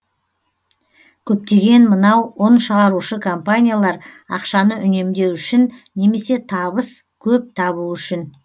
көптеген мынау ұн шығарушы компаниялар ақшаны үнемдеу үшін немесе табыс көп табу үшін